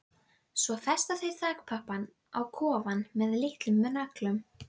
Svo festa þau þakpappann á kofann með litlum nöglum.